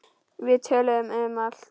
Við töluðum um allt.